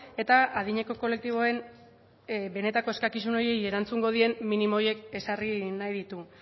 eta adineko kolektiboen benetako eskakizun horiei erantzungo dien minimo horiek ezarri nahi ditu